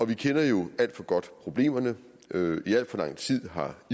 vi kender jo alt for godt problemerne i al for lang tid har